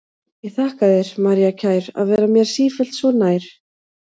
Ég þakka þér, María kær, að vera mér sífellt svo nær.